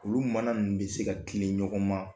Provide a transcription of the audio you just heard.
Olu mana ninnu bɛ se ka tile ɲɔgɔn ma